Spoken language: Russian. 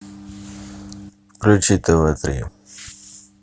включи тв три